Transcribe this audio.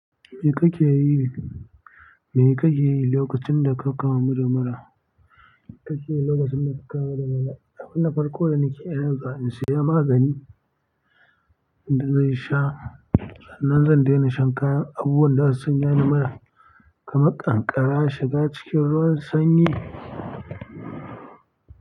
Me kake yi, me kake yi lokacin da ka kamu da mura? Me kake yi lokacin da ka kawo madara? Abu na farko da nake iya yin zuwa in sai magani, idan nasha. Sannan zan daina shan kayan abubuwan da za su sanya ni mura kamar ƙanƙara shiga cikin ruwan sanyi.